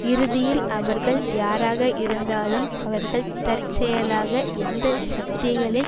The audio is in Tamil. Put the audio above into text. இறுதியில் அவர்கள் யாராக இருந்தாலும் அவர்கள் தற்செயலாக எந்த சக்திகளின்